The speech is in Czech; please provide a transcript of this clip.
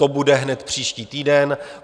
To bude hned příští týden.